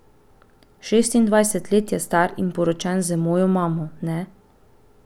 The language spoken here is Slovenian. Šestindvajset let je star in poročen z mojo mamo, ne?